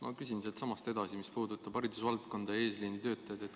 Ma küsin siitsamast edasi ja puudutan haridusvaldkonda, eesliinitöötajaid.